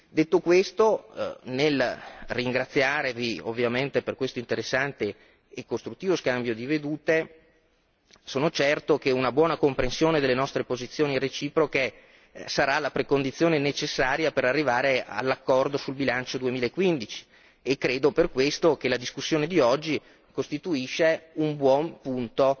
Detto questo, nel ringraziarvi ovviamente per questo interessante e costruttivo scambio di vedute, sono certo che una buona comprensione delle nostre posizioni reciproche sarà la precondizione necessaria per arrivare all'accordo sul bilancio 2015 e credo per questo che la discussione di oggi costituisca un buon punto